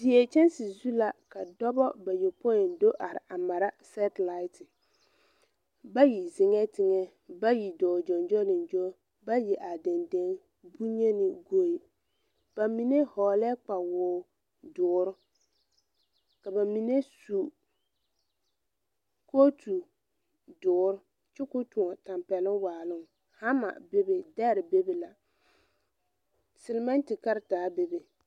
Die kyɛnse zu la ka dɔbɔ bayɔpoi do are a mara sɛtelaate. Bayi zeŋɛɛ teŋɛ, bayi dɔɔ gyoŋgyoliŋgyo, bayi are dendeŋe, boŋyeni goeŋ. Ba mine hɔɔlɛɛ kpawoo doore, ka ba mine su kootu doore kyɛ koo toɔ tampɛloŋ waa. Hama be be, dɛre be be la, selmente karataa be be.